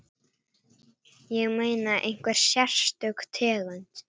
Ég meina, einhver sérstök tegund?